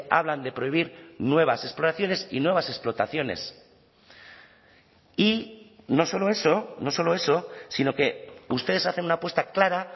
hablan de prohibir nuevas exploraciones y nuevas explotaciones y no solo eso no solo eso sino que ustedes hacen una apuesta clara